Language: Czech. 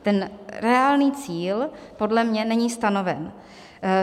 Ten reálný cíl podle mě není stanoven.